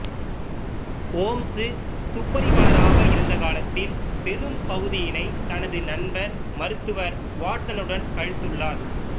ஓம்சு துப்பறிவாளராக இருந்த காலத்தில் பெரும்பகுதியினைத் தனது நண்பர் மருத்துவர் வாட்சனுடன் கழித்துள்ளார்